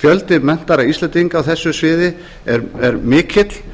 fjöldi menntaðra íslendinga á þessu sviði er mikill